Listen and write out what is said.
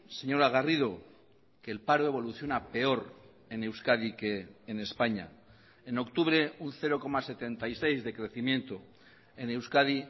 señora garrido que el paro evoluciona peor en euskadi que en españa en octubre un cero coma setenta y seis de crecimiento en euskadi